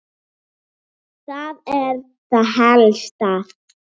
Það er það helsta.